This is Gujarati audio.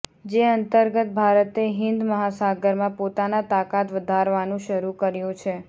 જે અંતર્ગત ભારતે હિન્દ મહાસાગારમાં પોતાના તાકાત વધારવાનું શરૂ કર્યું છે